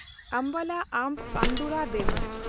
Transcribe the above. ᱟᱢᱵᱟᱞᱟ–ᱟᱢᱵᱷ ᱟᱱᱫᱳᱣᱨᱟ ᱰᱮᱢᱩ